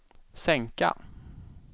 sänka